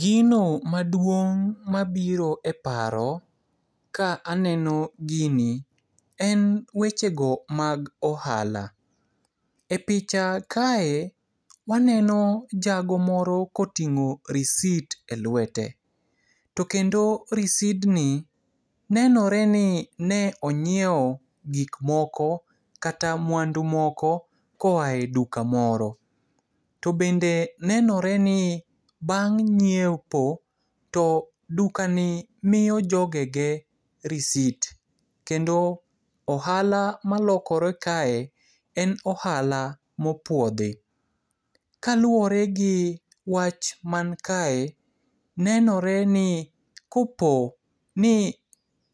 Gino maduong' mabiro e paro ka aneni gini, en wechego mag ohala. E picha kae, waneno jago moro koting'o risit e lwete. To kendo risidni, nenoreni ne ong'ieo gikmoko kata mwandu moko koae duka moro. To bende nenoreni bang' ng'iepo, to dukani miyo jogege risit. Kendo ohala malokore kae, en ohala mopuodhi. Kaluore gi wach mankae, nenoreni kopo ni